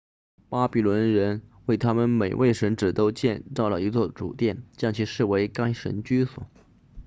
巴比伦人为他们每位神祇都建造了一座主殿将其视为该神居所